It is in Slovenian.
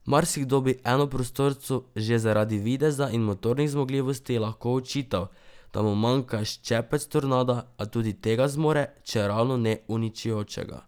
Marsikdo bi enoprostorcu že zaradi videza in motornih zmogljivosti lahko očital, da mu manjka ščepec tornada, a tudi tega zmore, čeravno ne uničujočega.